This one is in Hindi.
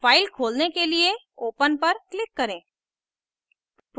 file खोलने के लिए open पर click करें